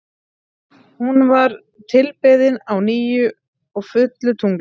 Hún var tilbeðin á nýju og fullu tungli.